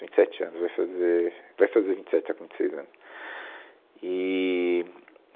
Vinte e sete anos, vai fazer, vai fazer vinte e sete, está com vinte e seis anos. Eee